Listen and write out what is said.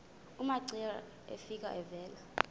umamcira efika evela